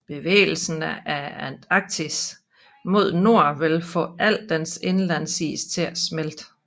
Bevægelsen af Antarktis mod nord vil få al dens indlandsis til at smelte